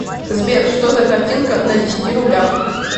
сбер что за картинка на десяти рублях